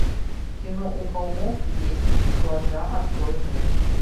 кино у холмов есть глаза открой мне